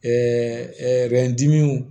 n dimi